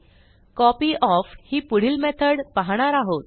कॉपयॉफ ही पुढील मेथड पाहणार आहोत